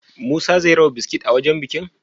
Musa zai raba biskit a wajan bikin?